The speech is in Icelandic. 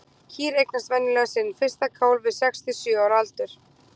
Kýr eignast venjulega sinn fyrsta kálf við sex til sjö ára aldur.